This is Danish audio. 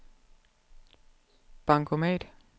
bankomat